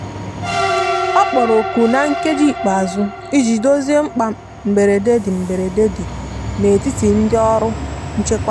ọ kpọrọ oku na nkeji ikpeazu ịjị dozie mkpa mgberede di mgberede di n'etiti ndi ọrụ nchekwa